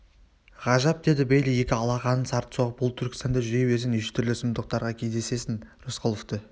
ғажап деді бейли екі алақанын сарт соғып бұл түркістанда жүре берсең неше түрлі сұмдықтарға кездесесің рысқұловты